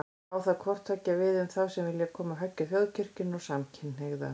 Á það hvort tveggja við um þá sem vilja koma höggi á Þjóðkirkjuna og samkynhneigða.